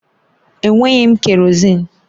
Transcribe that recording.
Enweghị m kerọzin